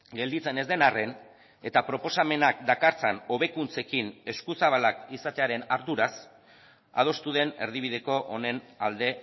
gelditzen ez den arren eta proposamenak dakartzan hobekuntzekin eskuzabalak izatearen arduraz adostu den erdibideko honen alde